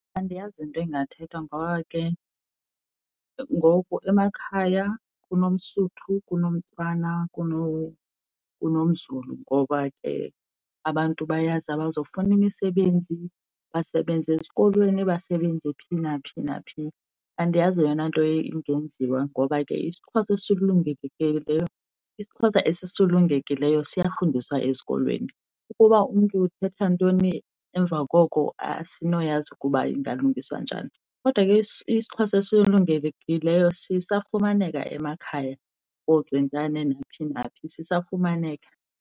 Andiyazi into ingathethwa ngoba ke ngoku emakhaya kunomSotho, kunomTswana, kunomZulu. Ngoba ke abantu bayaza abazofuna imisebenzi basebenze ezikolweni, basebenzi phi naphi naphi. Andiyazi yeyona nto ingenziwa ngoba ke isiXhosa isiXhosa esisulungekileyo siyafundiswa esikolweni. Ukuba umntu uthetha ntoni emva koko asinoyazi ukuba ingalungiswa njani. Kodwa ke isiXhosa esisulungekileyo sisafumaneka emakhaya kooCentane naphi naphi, sisafumaneka.